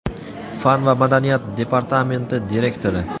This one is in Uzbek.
fan va madaniyat departamenti direktori.